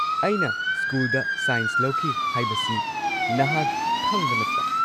ꯑꯩꯅ ꯁ꯭ꯀꯨꯜꯗ ꯁꯥꯏꯟꯁ ꯂꯧꯈꯤ ꯍꯥꯏꯕꯁꯤ ꯅꯍꯥꯛ ꯈꯪꯕ ꯅꯠꯇ꯭ꯔꯥ?